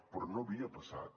però no havia passat